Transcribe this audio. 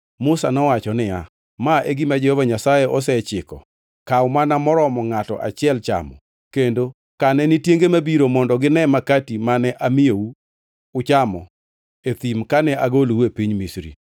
Musa nowacho niya, “Ma e gima Jehova Nyasaye osechiko, ‘Kaw mana moromo ngʼato achiel chamo kendo kane ni tienge mabiro mondo gine Makati mane amiyou uchamo e thim kane agolou e piny Misri.’ ”